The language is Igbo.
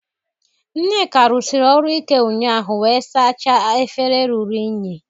Nneka rụsiri ọrụ ike ụnyaahụ wee sachaa efere ruru unyi